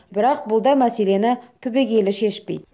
бірақ бұл да мәселені түбегейлі шешпейді